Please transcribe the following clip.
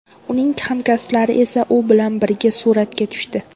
Uning hamkasblari esa u bilan birga suratga tushdi.